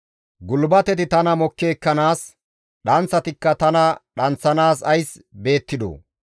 Gulbateti tana mokki ekkanaas, dhanththatikka tana dhanththanaas ays beettidoo?